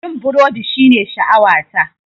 Yin burodi shine sha'awata.